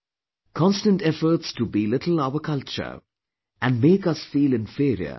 Constant efforts to belittle our culture and make us feel inferior were on